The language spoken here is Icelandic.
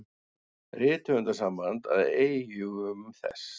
Rithöfundasamband að eigum þess.